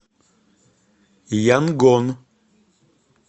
янгон